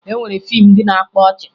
E nwere fiimu ndị na-akpa ọchị